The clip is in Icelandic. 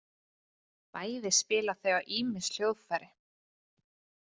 Bæði spila þau á ýmis hljóðfæri.